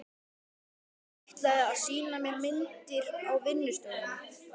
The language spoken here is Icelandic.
Ætlaði að sýna mér myndir á vinnustofunni.